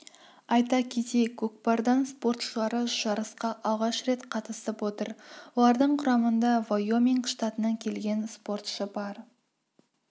айта кетейік көкпардан спортшылары жарысқа алғаш рет қатысып отыр олардың құрамында вайоминг штатынан келген спортшы бар